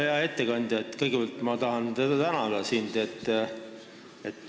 Hea ettekandja, kõigepealt ma tahan sind tänada.